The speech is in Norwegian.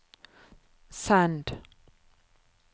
send